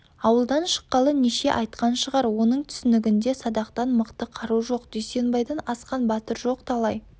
ауылдан шыққалы неше айтқан шығар оның түсінігінде садақтан мықты қару жоқ дүйсенбайдан асқан батыр жоқ талай